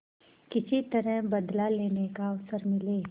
किसी तरह बदला लेने का अवसर मिले